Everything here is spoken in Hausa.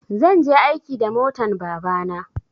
zan je aiki da motan babana